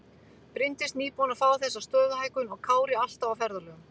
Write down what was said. Bryndís nýbúin að fá þessa stöðuhækkun og Kári alltaf á ferðalögum.